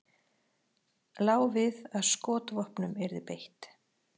Lá við að skotvopnum yrði beitt